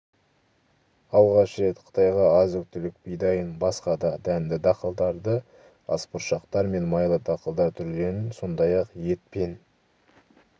алғаш рет қытайға азық-түлік бидайын басқа да дәнді-дақылдарды асбұршақтар мен майлы дақылдар түрлерін сондай-ақ ет пен